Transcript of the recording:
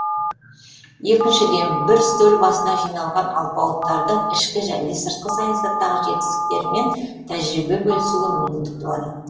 екіншіден бір үстел басына жиналған алпауыттардың ішкі және сыртқы саясаттағы жетістіктерімен тәжірибе бөлісуге мүмкіндік туады